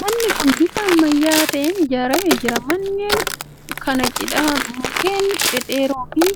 Manni kuni bifa ammayyaa'aa ta'een ijaaramee jira. Manneen kana cinaa mukkeen dhedheeroo fi